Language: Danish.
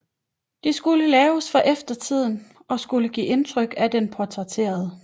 De skulle laves for eftertiden og skulle give et indtryk af den portrætterede